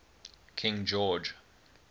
king george